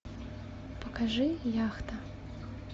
покажи яхта